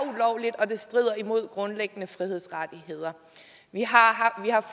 strider imod grundlæggende frihedsrettigheder vi har